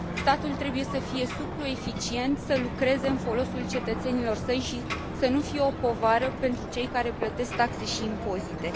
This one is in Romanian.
Statul trebuie să fie suplu, eficient, să lucreze în folosul cetățenilor săi și să nu fie o povară pentru cei care plătesc taxe și impozite.